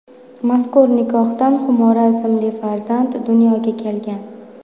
Mazkur nikohdan Xumora ismli farzand dunyoga kelgan.